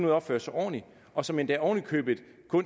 at opføre sig ordentligt og som endda oven i købet